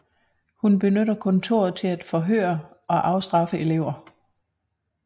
Hun benytter kontoret til at forhøre og afstraffe elever